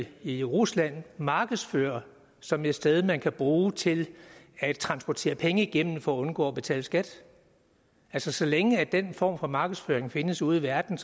i rusland markedsfører som et sted der kan bruges til at transportere penge igennem for at undgå at betale skat altså så længe den form for markedsføring findes ude i verden